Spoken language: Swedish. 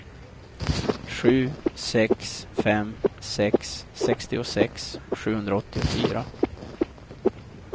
sju sex fem sex sextiosex sjuhundraåttiofyra